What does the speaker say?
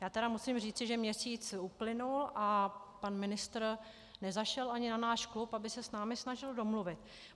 Já tedy musím říci, že měsíc uplynul a pan ministr nezašel ani na náš klub, aby se s námi snažil domluvit.